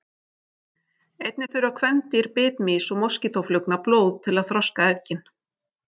Einnig þurfa kvendýr bitmýs og moskítóflugna blóð til að þroska eggin.